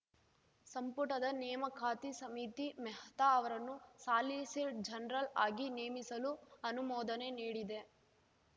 ಸಂಪುಟದ ನೇಮಕಾತಿ ಸಮಿತಿ ಮೆಹ್ತಾ ಅವರನ್ನು ಸಾಲಿಸಿಟ್ ಜನರಲ್‌ ಆಗಿ ನೇಮಿಸಲು ಅನುಮೋದನೆ ನೀಡಿದೆ